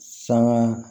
Sanga